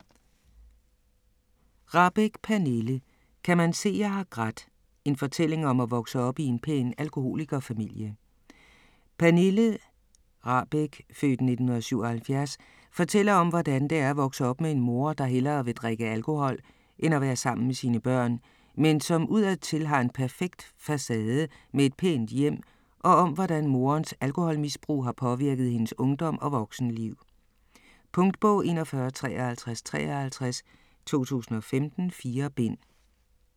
Rahbek, Pernille: Kan man se jeg har grædt?: en fortælling om at vokse op i en pæn alkoholikerfamilie Pernille Rahbek (f. 1977) fortæller om, hvordan det er at vokse op med en mor, der hellere vil drikke alkohol end at være sammen med sine børn, men som udadtil har en perfekt facade med et pænt hjem, og om hvordan morens alkoholmisbrug har påvirket hendes ungdom og voksenliv. Punktbog 415353 2015. 4 bind.